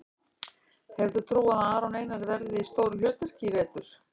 Hefur þú trú á að Aron Einar verði í stóru hlutverki í vetur?